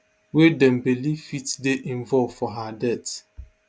wey dem believe fit dey involve for her death